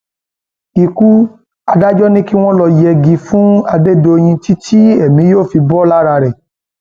ikú adájọ ni kí wọn lọọ yẹgi fún adédèyìn títí tí èmi yóò fi bò lára rẹ